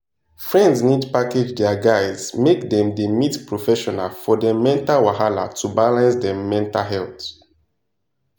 friends need package dia guys make dem da meet professional for dem mental wahala to balance dem mental health